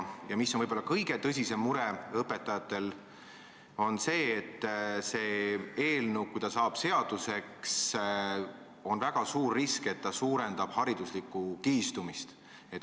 Mis aga õpetajate jaoks on võib-olla kõige suurem mure, on see, et kui see eelnõu saab seaduseks, on väga suur risk, et suureneb hariduslik kihistumine.